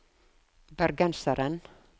bergenseren